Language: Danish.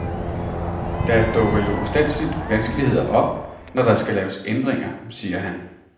Der dukker jo ustandselig vanskeligheder op, når der skal laves ændringer, siger han.